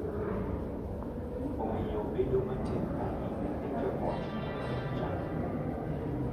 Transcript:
Omiyo bedo matek ahinya ne joot mondo ochang’. Nyithindo,